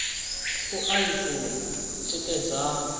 u a i funa tikedzani